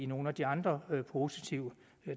nogle af de andre positive